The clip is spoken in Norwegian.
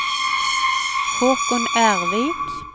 Håkon Ervik